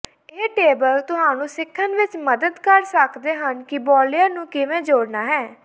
ਇਹ ਟੇਬਲ ਤੁਹਾਨੂੰ ਸਿੱਖਣ ਵਿਚ ਮਦਦ ਕਰ ਸਕਦੇ ਹਨ ਕਿ ਬਾਲਯਰ ਨੂੰ ਕਿਵੇਂ ਜੋੜਨਾ ਹੈ